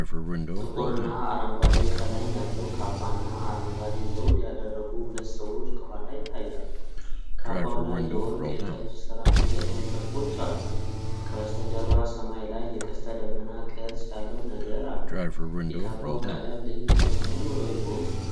ጥቁርና አረንጓዴ ቀለም ያለው ካባና አረንጓዴ ዘውድ ያደረጉ ሁለት ሰዎች ከኋላ ይታያሉ። ካባው ላይ የወርቅ የጥልፍ ስራየእጅ ጥልፎች አሉ። ከበስተጀርባ ሰማይ ላይ የቀስተ ደመና ቅርጽ ያለው ነገር አለ፤ የካባው ቀለም ልዩ ትርጉም ይኖረው ይሆን?